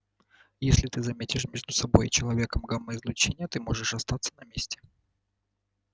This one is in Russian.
если ты заметишь между собой и человеком гамма-излучение ты можешь остаться на месте